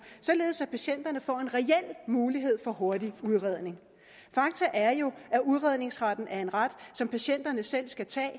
således at patienterne får en reel mulighed for hurtig udredning fakta er jo at udredningsretten er en ret som patienterne selv skal tage